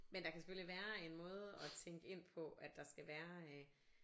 Men der kan selvfølgelig være en måde at tænkte ind på at der skal være øh